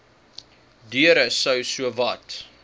deure sou sowat